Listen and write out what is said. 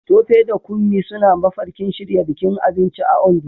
Tope da Kunmi suna mafarkin shirya bikin abinci a Ondo